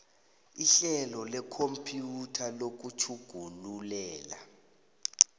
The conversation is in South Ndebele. ihlelo lekhompyutha lokutjhugululela